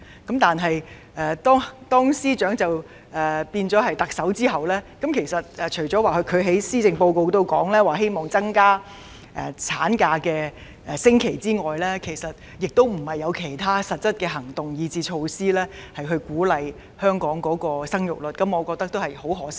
可是，當司長成為特首後，她除了在施政報告中表示希望增加產假的星期數目外，其實並沒有採取其他實質行動或措施鼓勵生育，我對此感到十分可惜。